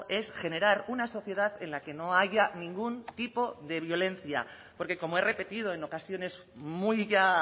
es generar una sociedad en la que no haya ningún tipo de violencia porque como he repetido en ocasiones muy ya